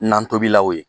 Nan tobila o ye